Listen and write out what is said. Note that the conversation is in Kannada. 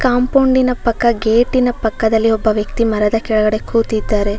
ಕಂಪೌಂಡಿ ನ ಪಕ್ಕ ಗೇಟಿ ನ ಪಕ್ಕದಲ್ಲಿ ಒಬ್ಬ ವ್ಯಕ್ತಿ ಮರದ ಕೆಳಗಡೆ ಕೂತಿದ್ದಾರೆ.